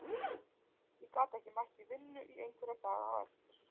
Ég gat ekki mætt í vinnu í einhverja daga á eftir.